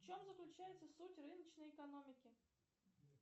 в чем заключается суть рыночной экономики